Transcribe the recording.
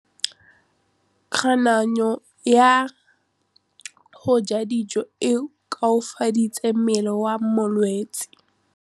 Kganô ya go ja dijo e koafaditse mmele wa molwetse.